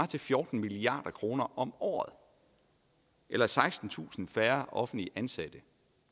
til fjorten milliard kroner om året eller sekstentusind færre offentligt ansatte